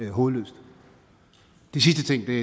hovedløst det sidste at det